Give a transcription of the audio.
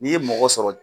N'i ye mɔgɔ sɔrɔ